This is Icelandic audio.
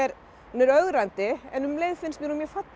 hún er ögrandi en um leið finnst mér hún mjög falleg